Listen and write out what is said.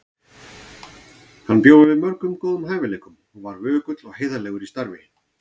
Hann bjó yfir mörgum góðum hæfileikum og var vökull og heiðarlegur í starfi.